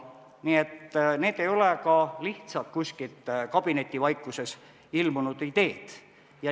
Nii et need ei ole lihtsalt kuskil kabinetivaikuses ilmunud ideed.